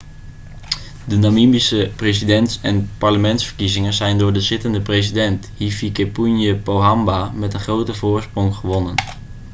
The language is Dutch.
de namibische presidents en parlementsverkiezingen zijn door de zittende president hifikepunye pohamba met een grote voorsprong gewonnen